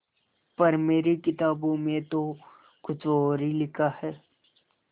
पर मेरी किताबों में तो कुछ और ही लिखा है